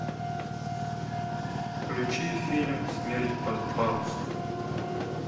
включи фильм смерть под парусом